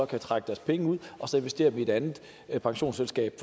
kan trække deres penge ud og så investere dem i et andet pensionsselskab